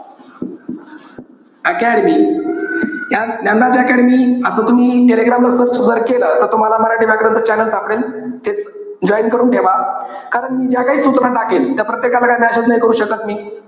Academy ज्ञा~ Dnyanraj academy असं तुम्ही, टेलिग्राम वर search जर केलं तर तुम्हाला मराठी व्याकरण च channel सापडेल. हे join करून ठेवा. कारण मी ज्याकाही सूचना टाकेल त्या प्रत्येकाला काही message करू शकत नाही मी.